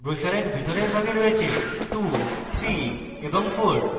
ব্রোসারের ভিতরের ভাগে রয়েছে 23 এবং 4